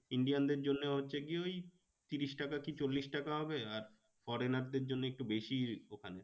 Indian দের জন্যে হচ্ছে কি ওই তিরিশ টাকা কি চল্লিশ টাকা হবে আর foreigner দের জন্যে একটু বেশি ওখানে।